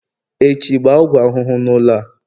Echi, gbaa ọgwụ ahụhụ n'ụlọ a